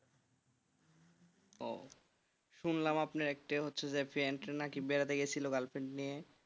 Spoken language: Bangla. শুনলাম আপনার একটা হচ্ছে যে friend রা কি বেড়াতে গেছিল girl friend নিয়ে,